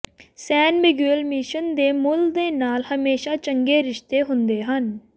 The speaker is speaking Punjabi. ਸੇਨ ਮਿਗੂਏਲ ਮਿਸ਼ਨ ਦੇ ਮੂਲ ਦੇ ਨਾਲ ਹਮੇਸ਼ਾ ਚੰਗੇ ਰਿਸ਼ਤੇ ਹੁੰਦੇ ਸਨ